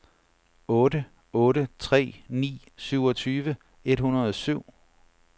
otte otte tre ni syvogtyve et hundrede og syv